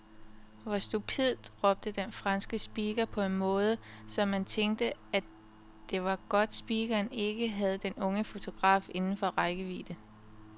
Hvor stupidt råbte den franske speaker på en måde, så man tænkte, det var godt speakeren ikke havde den unge fotograf inden for rækkevidde.